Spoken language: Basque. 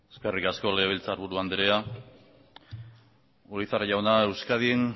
eskerrik asko legebiltzarburu andrea urizar jauna euskadin